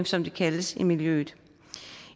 som det kaldes i miljøet